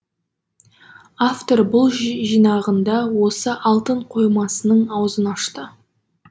автор бұл жинағында осы алтын қоймасының аузын ашты